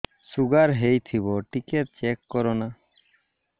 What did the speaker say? sugar ହେଇଥିବ ଟିକେ check କର ନା